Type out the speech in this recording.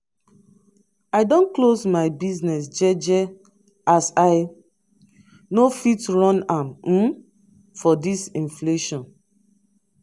i don close my business jeje as i no fit run am um for dis inflation.